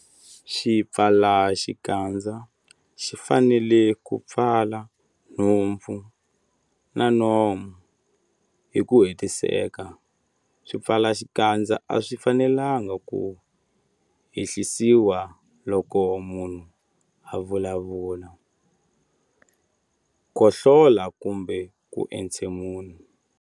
Xipfalaxikandza xi fanele ku pfala nhompfu na nomo hi ku hetiseka. Swipfalaxikandza a swi fanelanga ku ehlisiwa loko munhu a vulavula, khohlola kumbe ku entshemula.